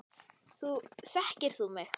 Þekkir þú mig?